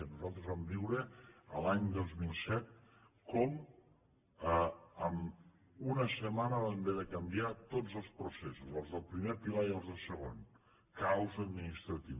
nosaltres vam viure l’any dos mil set com en una setmana vam haver de canviar tots els processos els del primer pilar i els del segon caos administratiu